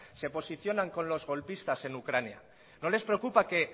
se posicionan con los golpistas en ucrania no les preocupa que